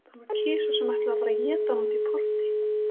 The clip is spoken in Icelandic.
Það var kisa sem ætlaði að fara að éta hana úti í porti.